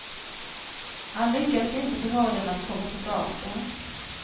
Han lyckades inte förmå den att komma tillbaka.